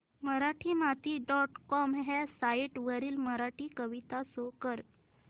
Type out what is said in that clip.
Marathimati dot com ह्या site वरील मराठी कविता शो कर